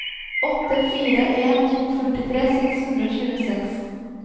åtte fire en to førtitre seks hundre og tjueseks